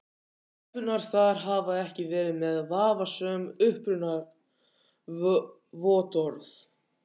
Stelpurnar þar hafa ekki verið með vafasöm upprunavottorð.